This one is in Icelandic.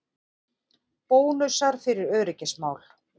Bónusar fyrir öryggismál